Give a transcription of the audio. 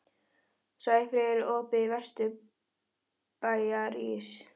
Sæfríður, er opið í Vesturbæjarís?